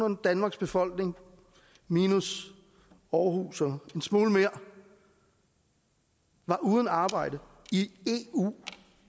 danmarks befolkning minus aarhus og en smule mere var uden arbejde i eu